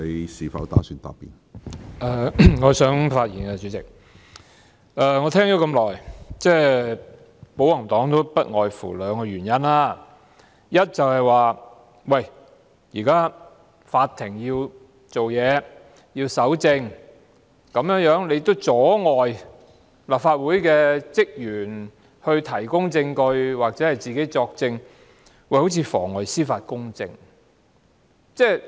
我聆聽了保皇黨的發言很久，他們提出的原因不外乎兩個：第一，現在法庭要審理案件，故此要搜證，如果我們阻礙立法會職員提供證據或出庭作供，便有妨礙司法公正之嫌。